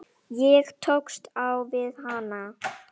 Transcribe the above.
Ég tókst á við hana.